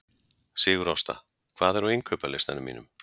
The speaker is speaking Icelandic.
Sigurásta, hvað er á innkaupalistanum mínum?